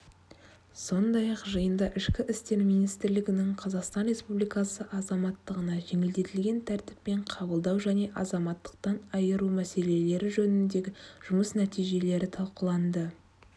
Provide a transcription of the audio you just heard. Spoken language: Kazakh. сондай-ақ жиында ішкі істер министрлігінің қазақстан республикасы азаматтығына жеңілдетілген тәртіппен қабылдау және азаматтықтан айыру мәселелері жөніндегі жұмыс нәтижелері талқыланды